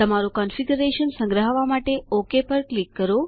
તમારું કોન્ફીગરેશન સંગ્રહવા માટે ઓક પર ક્લિક કરો